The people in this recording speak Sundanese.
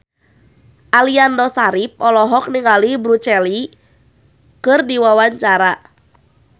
Aliando Syarif olohok ningali Bruce Lee keur diwawancara